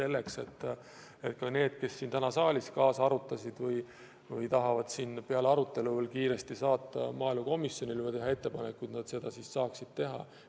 Nii et kõik, kes täna siin saalis kaasa mõtlesid ja tahavad peale arutelu kiiresti saata maaelukomisjonile ettepanekuid, saavad seda teha.